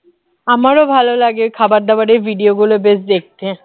আমারও ভালো লাগে খাবার দাবারের video গুলো বেশ দেখতে